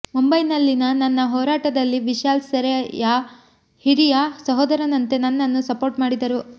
ಮುಂಬೈನಲ್ಲಿನ ನನ್ನ ಹೋರಾಟದಲ್ಲಿ ವಿಶಾಲ್ ಸೆರಾಯ್ ಹಿರಿಯ ಸಹೋದರನಂತೆ ನನ್ನನ್ನು ಸಪೋರ್ಟ್ ಮಾಡಿದರು